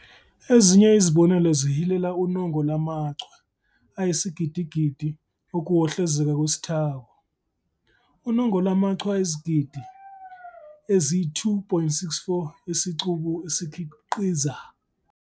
Ezinye izibonelo zihilela unongo lamachwe ayisigidigidi okuwohlozeka kwesithako, unongo lwamachwe ayizigidi ezi-2.64 esicubu esikhiqiza